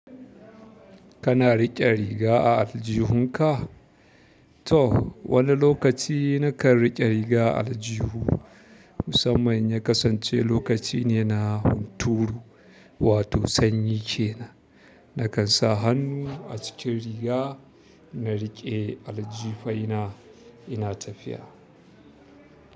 Kana riƙe riga a aljihunka? To, wani lokaci na kan riƙe riga aljihu. Musamman ya kasance lokaci ne na hunturu, wato sanyi ke nan. Na kan sa hannu a cikin riga na riƙe aljifaina ina tafiya.